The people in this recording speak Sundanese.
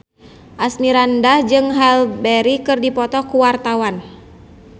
Asmirandah jeung Halle Berry keur dipoto ku wartawan